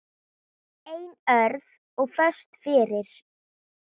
Einörð og föst fyrir.